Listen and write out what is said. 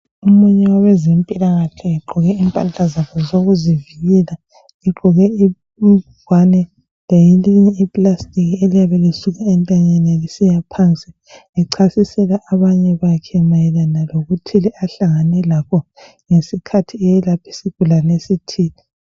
Omunye wabezempilakahle egqoke impahla zakhe zokuzivikela egqoke ingwane lelinye I plastic eliyabe lisuka entanyeni lisiya phansi echasisela abanye bakhe mayelana lokuthile ahlangane lakho ngesikhathi eyelapha isigulane esithile.